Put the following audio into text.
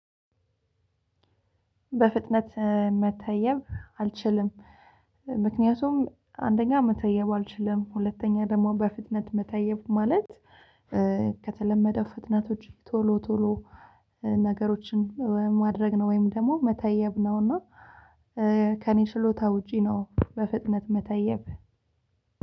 በፍጥነት መታየብ አልችልም። ምክንያቱም አንደኛ መተየብ አልችልም ሁለተኛ ደግሞ በፍጥነት መተየብ ማለት ከተለመደው ፍጥነቶች ቶሎ ቶሎ ነገሮችን ማድረግ ነው። ወይም ደግሞ መተየብ ነውና። ከኔ ችሎታ ውጪ ነው በፍጥነት መተየብ።